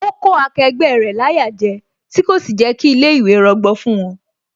Ó kó akẹgbẹ́ rẹ̀ láyà jẹ, tí kò sì jẹ́ kí ilé ìwé rọgbọ fún wón